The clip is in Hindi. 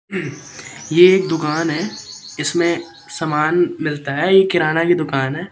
ये एक दुकान है इसमें समान मिलता है ये किराना की दुकान है।